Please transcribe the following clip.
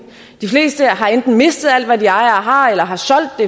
de fleste har enten mistet alt hvad de ejer og har eller har solgt